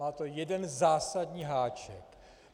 Má to jeden zásadní háček.